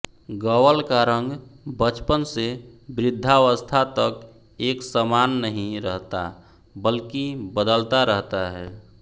गवल का रंग बचपन से वृद्धावस्था तक एक समान नहीं रहता बल्कि बदलता रहता है